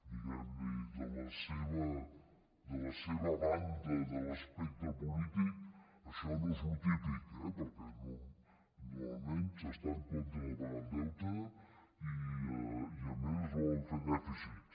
diguem ne de la seva banda de l’espectre polític això no és el típic eh perquè normalment s’està en contra de pagar el deute i a més es volen fer dèficits